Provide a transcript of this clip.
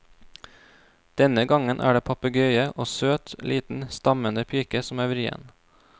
Denne gangen er det papegøye og søt, liten, stammende pike som er vrien.